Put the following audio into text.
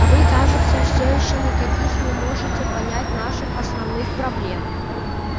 вы кажется всё ещё никаких не можете понять наших основных проблем